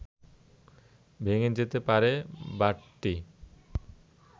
ভেঙে যেতে পারে বাঁটটি